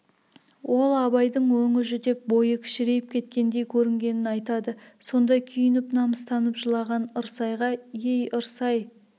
ол абайдың өңі жүдеп бойы кішірейіп кеткендей көрінгенін айтады сонда күйініп намыстанып жылаған ырсайға ей ырсай